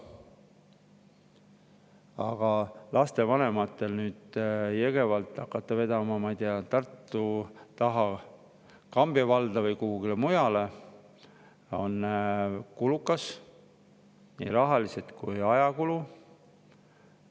Aga hakata lapsi vedama Jõgevalt, ma ei tea, Tartu taha Kambja valda või kuhugi mujale on lapsevanematele kulukas, seda nii rahaliselt kui ajakulu mõttes.